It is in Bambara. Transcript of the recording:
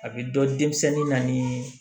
A bɛ dɔn denmisɛnnin na ni